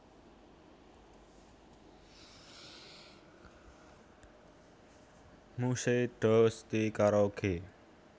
Mujhse Dosti Karoge